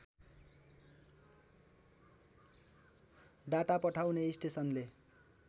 data पठाउने स्टेसनले